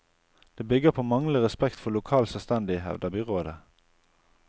Det bygger på manglende respekt for lokal selvstendighet, hevder byrådet.